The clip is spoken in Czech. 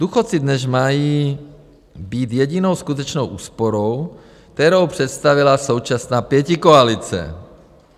Důchodci dnes mají být jedinou skutečnou úsporou, kterou představila současná pětikoalice.